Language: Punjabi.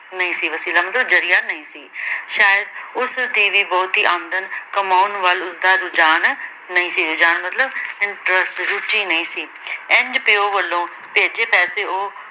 ਨਹੀਂ ਸੀ ਵਸੀਲਾ ਮਤਲਬ ਜਰੀਆ ਨਹੀਂ ਸੀ। ਸ਼ਇਦ ਉਸਦੀ ਵੀ ਬਹੁਤੀ ਆਮਦਨ ਕਮਾਉਣ ਵੱਲ ਉਸਦਾ ਰੁਝਾਨ ਨਹੀਂ ਸੀ। ਰੁਝਾਨ ਮਤਲਬ interest ਰੁਚੀ ਨਹੀਂ ਸੀ। ਇੰਝ ਪਿਉ ਵਲੋਂ ਭੇਜੇ ਪੈਸੇ ਉਹ